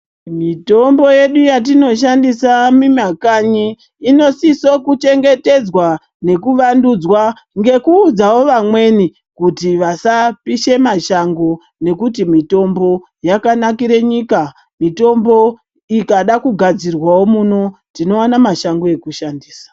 Mitombo yedu yatinoshandisa mumamakanyi inosise kuchengetedzwa nekuvandudzwa ngekuudzao vamweni kuti vasapisha mashango nekuti mitombo yakanikire nyika mitombo ikadao kugadzirwa muno tinoonao mashango ekushandisa.